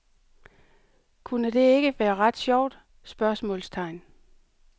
Kunne det ikke være ret sjovt? spørgsmålstegn